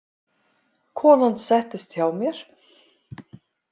Konan settist hjá mér.